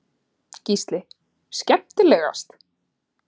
Gísli:. skemmtilegast?